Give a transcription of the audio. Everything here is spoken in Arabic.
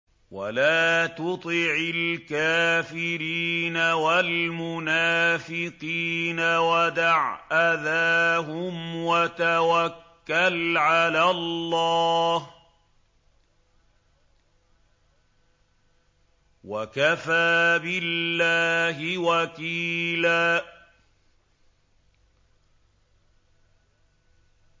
وَلَا تُطِعِ الْكَافِرِينَ وَالْمُنَافِقِينَ وَدَعْ أَذَاهُمْ وَتَوَكَّلْ عَلَى اللَّهِ ۚ وَكَفَىٰ بِاللَّهِ وَكِيلًا